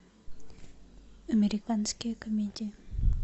американские комедии